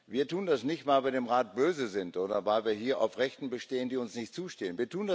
Wir tun das nicht, weil wir dem Rat böse sind, oder weil wir hier auf Rechte bestehen, die uns nicht zustehen.